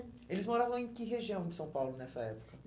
Eles moravam em que região de São Paulo nessa época?